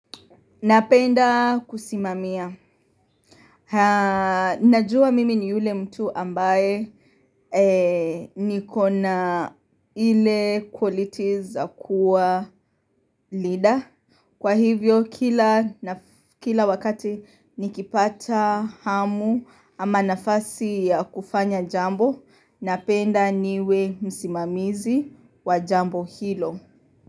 Napenda kusimamia. Najua mimi ni ule mtu ambaye nikona ile qualities za kuwa leader. Kwa hivyo kila wakati nikipata hamu ama nafasi ya kufanya jambo, napenda niwe msimamizi wa jambo hilo.